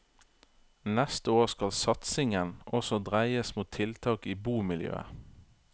Neste år skal satsingen også dreies mot tiltak i bomiljøet.